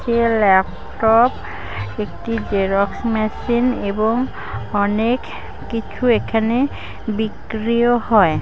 Laptop একটি xerox machine এবং অনেক কিছু এখানে বিক্রিও হয়।